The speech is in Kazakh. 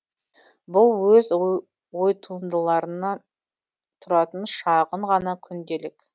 бұл өз ойтуындыларынан тұратын шағын ғана күнделік